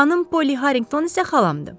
Xanım Polli Harrinqton isə xalamdır.